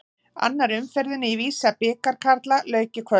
Annarri umferðinni í Visa-bikar karla lauk í kvöld.